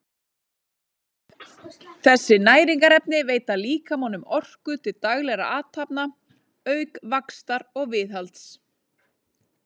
Þessi næringarefni veita líkamanum orku til daglegra athafna auk vaxtar og viðhalds.